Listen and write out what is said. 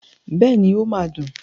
Bẹ́ẹ̀ni, ó máa dùn.